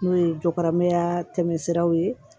N'o ye jakarɛmaya tɛmɛsiraw ye